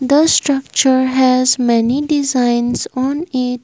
The structure has many designs on it.